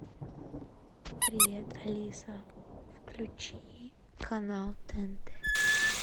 привет алиса включи канал тнт